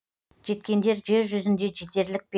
жеткендер жер жүзінде жетерлік пе